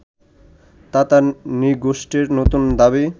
তাতার নৃগোষ্ঠীর নতুন দাবি